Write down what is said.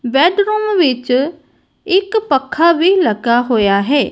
Bedroom ਵਿੱਚ ਇੱਕ ਪੱਖਾ ਵੀ ਲੱਗਾ ਹੋਇਆ ਹੈ।